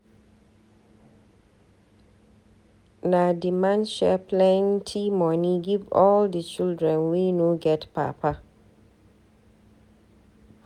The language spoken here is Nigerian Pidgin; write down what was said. Na di man share plenty moni give all di children wey no get papa.